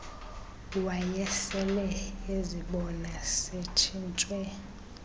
wayesele ezibona setshintshe